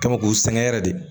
Kami k'u sɛgɛn yɛrɛ de